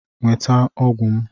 Nweta ọgwụ m!